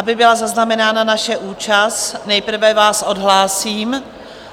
Aby byla zaznamenána naše účast, nejprve vás odhlásím